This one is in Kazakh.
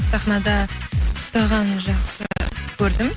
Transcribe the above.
сахнада ұстағанын жақсы көрдім